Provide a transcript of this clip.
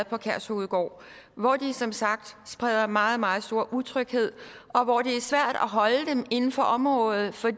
på kærshovedgård hvor de som sagt spreder meget meget stor utryghed og hvor det er svært at holde dem inden for området for